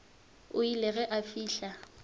o ile ge a fihla